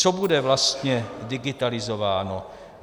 Co bude vlastně digitalizováno?